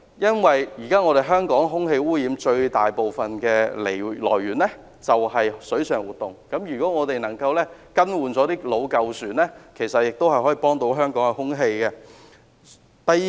現時香港空氣污染的最大來源是水上活動，如果我們能夠更換老舊船隻，也能提升香港的空氣質素。